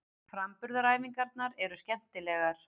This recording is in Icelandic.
Framburðaræfingarnar eru skemmtilegar.